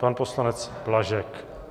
Pan poslanec Blažek.